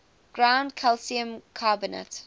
ground calcium carbonate